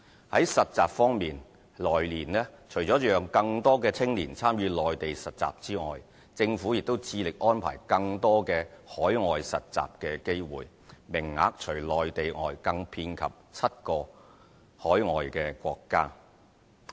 在實習方面，來年除了讓更多青年參與內地實習之外，政府亦致力安排更多海外實習機會，名額除內地外更遍及7個海外國家。